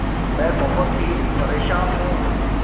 मैं बहुत ही परेशान हूँ